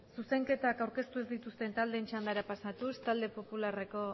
zuzenketak aurkeztu ez dituzten taldeen txandara pasatuz talde popularreko